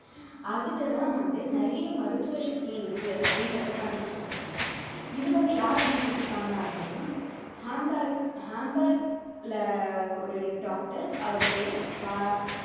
அதுல தான் வந்து நிறைய மருத்துவ சக்தி இருக்கு அப்படின்றதை கண்டுபிடிச்சிருக்காங்க இது வந்து யார் கண்டுபிடிச்சிருக்காங்க அப்படின்னா ஹம்பர் ஹம்பர்ல ஒரு doctor அவர் பேரு வ~